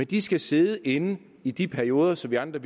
de skal sidde inde i de perioder så vi andre